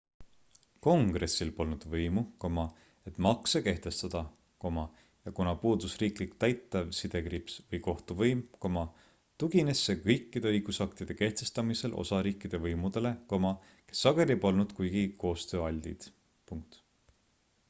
kongressil polnud võimu et makse kehtestada ja kuna puudus riiklik täitev või kohtuvõim tugines see kõikide õigusaktide kehtestamisel osariikide võimudele kes sageli polnud kuigi koostööaltid